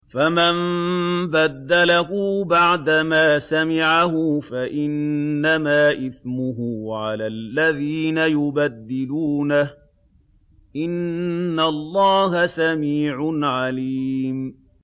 فَمَن بَدَّلَهُ بَعْدَمَا سَمِعَهُ فَإِنَّمَا إِثْمُهُ عَلَى الَّذِينَ يُبَدِّلُونَهُ ۚ إِنَّ اللَّهَ سَمِيعٌ عَلِيمٌ